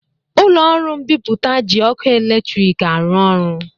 Ụlọ ọrụ mbipụta ji ọkụ eletrik arụ ọrụ